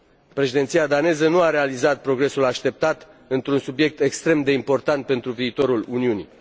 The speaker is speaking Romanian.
Președinția daneză nu a realizat progresul așteptat într un subiect extrem de important pentru viitorul Uniunii.